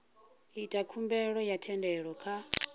ita khumbelo ya thendelo kha